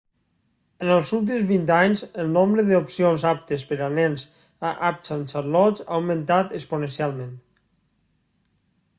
en els últims 20 anys el nombre d'opcions aptes per a nens a uptown charlotte ha augmentat exponencialment